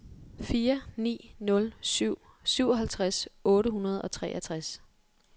fire ni nul syv syvoghalvtreds otte hundrede og treogtres